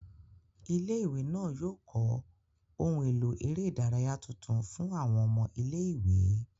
Ilé-ìwé náà yóò kọ́ ohun èlò eré ìdárayá tuntun fún àwọn ọmọ ilé-ìwé